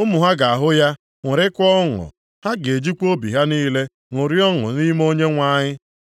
Ụmụ ha ga-ahụ ya ṅụrịakwa ọṅụ, ha ga-ejikwa obi ha niile ṅụrịa ọṅụ nʼime Onyenwe anyị.